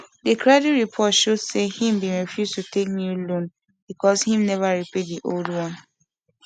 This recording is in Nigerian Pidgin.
the credit report show say him bin refuse to take new loan because him never pay the old one